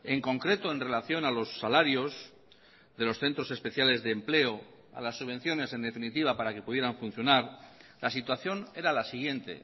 en concreto en relación a los salarios de los centros especiales de empleo a las subvenciones en definitiva para que pudieran funcionar la situación era la siguiente